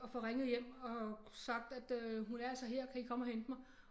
Og får ringet hjem og sagt at øh hun er altså her kan I komme og hente mig